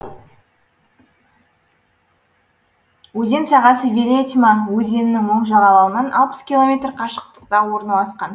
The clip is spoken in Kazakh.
өзен сағасы велетьма өзенінің оң жағалауынан алпыс километр қашықтықта орналасқан